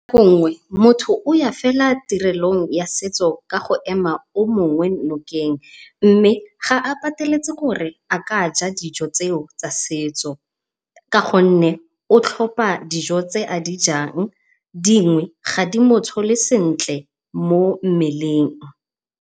Nako nngwe motho o ya fela tirelong ya setso go ema yo mongwe nokeng, mme ga a pateletse gore a ka ja dijo tseo tsa setso ka gonne o tlhopha dijo tse a dijang. Dingwe ga di motshole sentle mo mmeleng.